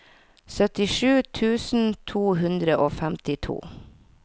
syttisju tusen to hundre og femtito